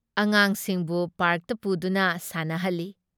ꯑꯉꯥꯥꯡꯁꯤꯡꯕꯨ ꯄꯥꯔꯛꯇ ꯄꯨꯗꯨꯅ ꯁꯥꯟꯅꯍꯜꯂꯤ ꯫